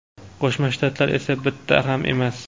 Qo‘shma Shtatlar esa bitta ham emas.